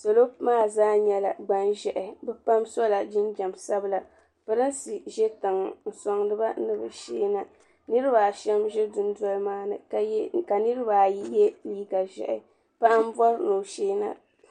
salo maa zaa nyɛla gbanʒɛhi bɛ pam sola jinjam sabila Pirinsi ʒe tiŋa n-sɔŋdi ba ni bɛ sheei na niriba ashɛm ʒe dundoli maa ni ka niriba ayi ye neen'ʒɛhi paɣa m-bɔri ni o sheei na.